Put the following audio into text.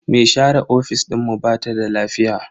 Me share ofis dinmu bata da lafiya.